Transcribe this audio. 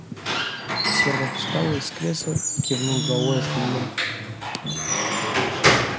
сермак встал из кресла и кивнул головой остальным